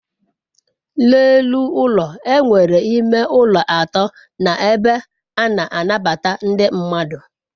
n'elu ulo e nwere ime ulo ato na ebe a na anabata ndi mmadu